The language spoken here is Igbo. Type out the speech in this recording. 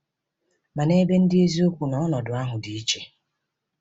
Ma, n’ebe ndị eziokwu nọ, ọnọdụ ahụ dị iche.